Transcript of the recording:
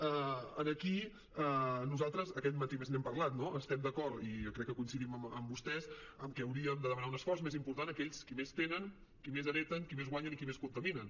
aquí nosaltres aquest matí a més n’hem parlat no estem d’acord i jo crec que coincidim amb vostès en què hauríem de demanar un esforç més important a aquells qui més tenen qui més hereten qui més guanyen i qui més contaminen